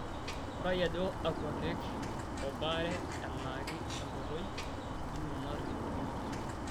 Ngurai ajo akua keek o baare elaaki enkoitoi ino narrip biotisho .